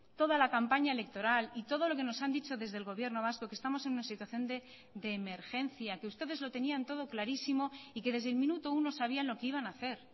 toda la campaña electoral y todo lo que nos han dicho desde el gobierno vasco que estamos en una situación de emergencia que ustedes lo tenían todo clarísimo y que desde el minuto uno sabían lo que iban a hacer